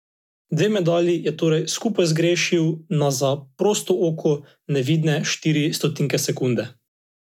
Dve medalji je torej skupaj zgrešil na za prosto oko nevidne štiri stotinke sekunde.